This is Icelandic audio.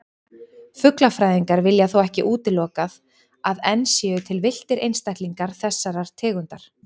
Fuglafræðingar vilja þó ekki útilokað að enn séu til villtir einstaklingar þessarar tegundar.